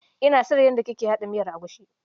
Ina son yadda kike haɗa miyar egusi.